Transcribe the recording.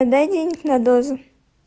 дай денег на дозу